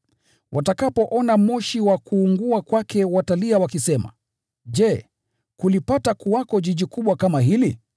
Watakapouona moshi wa kuungua kwake watalia wakisema, ‘Je, kulipata kuwako mji mkubwa kama huu?’